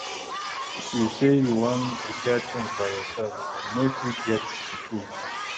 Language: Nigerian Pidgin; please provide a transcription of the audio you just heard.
If you sey you wan repair things by yourself, you fit no get di tools